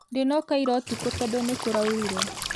Ndĩnoka ira ũtukũtondũnĩkũraurire